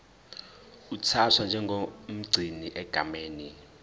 uthathwa njengomgcini egameni